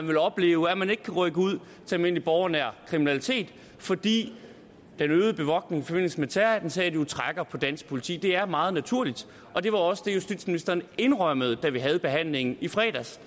vil opleve at man ikke kan rykke ud til almindelig borgernær kriminalitet fordi den øgede bevogtning i forbindelse med terrorattentatet jo trækker på dansk politi det er meget naturligt det var også det justitsministeren indrømmede da vi havde behandlingen i fredags